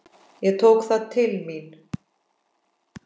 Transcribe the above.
Ég tók það til mín.